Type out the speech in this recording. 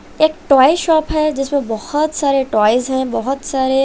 एक toy shop है जिसमें बहोत सारे टॉयज हैं बहुत सारे--